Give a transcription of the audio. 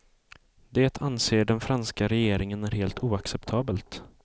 Det anser den franska regeringen är helt oacceptabelt.